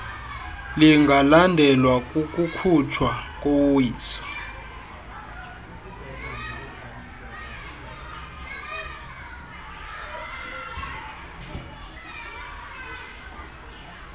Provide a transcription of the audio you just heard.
lingalandelwa kukukhutshwa kowiso